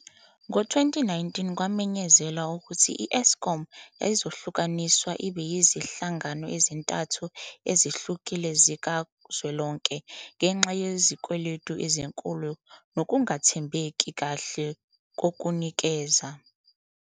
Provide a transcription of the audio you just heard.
Ngo-2019, kwamenyezelwa ukuthi i-Eskom yayizohlukaniswa ibe yizinhlangano ezintathu ezihlukile zikazwelonke ngenxa yezikweletu ezinkulu nokungathembeki kahle kokunikeza.